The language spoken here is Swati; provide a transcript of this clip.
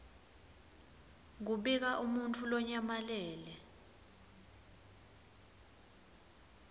kubika umuntfu lonyamalele